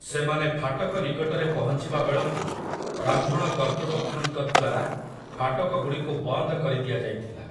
ସେମାନେ ଫାଟକ ନିକଟରେ ପହଞ୍ଚିବା ବେଳକୁ ବ୍ରାହ୍ମଣ କର୍ତ୍ତୃପକ୍ଷଙ୍କ ଦ୍ୱାରା ଫାଟକଗୁଡ଼ିକୁ ବନ୍ଦ କରି ଦିଆଯାଇଥିଲା ।